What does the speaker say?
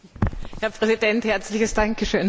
Herr Präsident, herzliches Dankeschön!